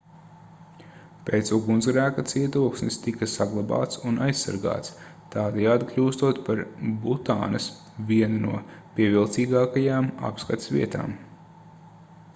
pēc ugunsgrēka cietoksnis tika saglabāts un aizsargāts tādējādi kļūstot par butānas vienu no pievilcīgākajām apskates vietām